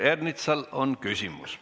Peeter Ernitsal on küsimus.